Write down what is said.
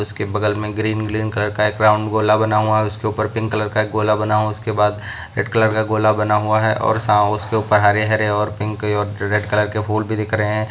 उसके बगल में ग्रीन ग्रीन कलर का एक राउंड गोला बना हुआ। उसके ऊपर पिंक कलर का एक गोला बना हुआ। उसके बाद रेड कलर का गोला बना हुआ है और सा उसके ऊपर हरे हरे और पिंक और रेड कलर के फूल भी दिख रहे हैं।